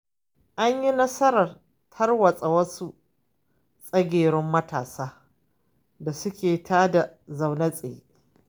An yi nasarar tarwatsa wasu tsagerun matasa da suke tada zaune tsaye.